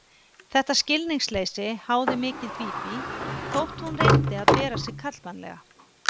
Þetta skilningsleysi háði mikið Bíbí, þótt hún reyndi að bera sig karlmannlega.